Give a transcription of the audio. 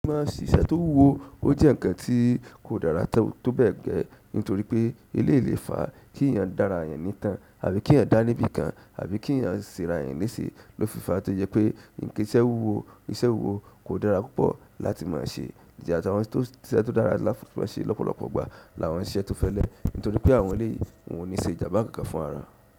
Mọ se iṣẹ́ tó wúwo ó jẹ́ ǹkan tí kò dára tó bẹ́ẹ̀ gẹ, nítorí pé eléyìí lè fàá kí èèyàn dá ara èèyàn ní ìtàn àbí kí èèyàn dá ní ibi kan àbí kí èèyàn se ara rẹ̀ lése, ló fi fàá tó jẹ́ pé iṣẹ́ wúwo iṣẹ́ wúwo kò dára púpọ̀ láti mọ se. Ìjà tí àwọn iṣẹ́ tó dára ṣe lọ́pọ̀lọpọ̀ ìgbà làwọn iṣẹ́ tó fẹ́lẹ́ nítorí pé àwọn eléyìí wọn ò ní ṣe ìjànbá fún ara.